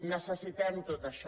necessitem tot això